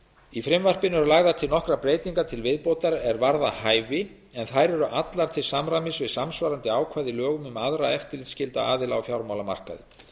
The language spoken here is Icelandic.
í frumvarpinu eru lagðar til nokkrar breytingar til viðbótar er varða hæfi en þær eru allar til samræmis við samsvarandi ákvæði í lögum um aðra eftirlitsskylda aðila á fjármálamarkaði